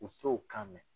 U t'o kan mɛn